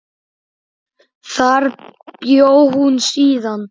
Þar bjó hún síðan.